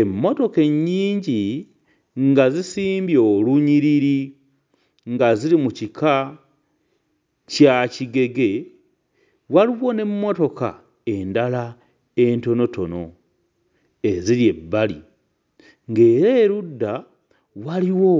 Emmotoka ennyingi nga zisimbye olunyiriri nga ziri mu kika kya kigege. Waliwo n'emmotoka endala entonotono eziri ebbali ng'era erudda waliwo